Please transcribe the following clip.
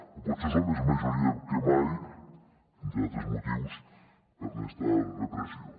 o potser som més majoria que mai entre altres motius per esta repressió